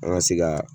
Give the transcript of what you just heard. An ka se ka